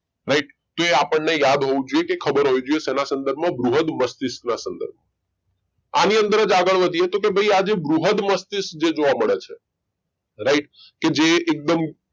right તો આપણને એ યાદ હોવું જોઈએ કે ખબર હોવી જોઈએ શના સંદર્ભમાં બૃહદ મસ્તિષ્કના સંદર્ભમાં આની અંદર જ આગળ વધીએ તો કે ભાઈ આ જે બૃહદ મસ્તિષ્ક જે જોવા મળે છે right કે જે એકદમ